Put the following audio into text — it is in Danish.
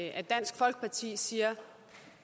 at dansk folkeparti siger at